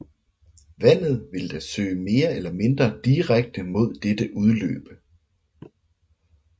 Vandet vil da søge mere eller mindre direkte mod dette udløb